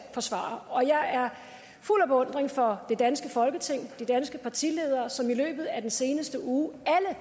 forsvare og jeg er fuld af beundring for det danske folketing de danske partiledere som i løbet af den seneste uge